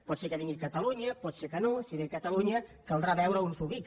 pot ser que vingui a catalunya pot ser que no si ve a catalunya caldrà veure on s’ubica